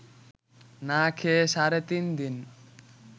না খেয়ে সাড়ে তিন দিন